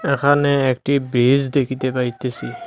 এখানে একটি ব্রিজ দেখিতে পাইতেছি।